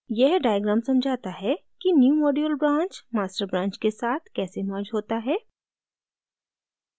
यह diagram समझाता है कि newmodule branch master branch के साथ कैसे merged होता है